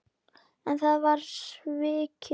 En það var svikið.